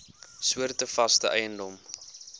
soorte vaste eiendom